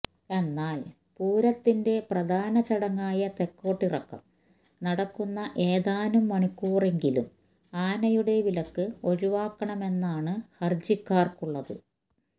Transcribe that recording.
എന്നാല് പൂരത്തിന്റെ പ്രധാന ചടങ്ങായ തെക്കോട്ടിറക്കം നടക്കുന്ന ഏതാനും മണിക്കൂറെങ്കിലും ആനയുടെ വിലക്ക് ഒഴിവാക്കണമെന്നാണ് ഹർജിക്കാർക്കുള്ളത്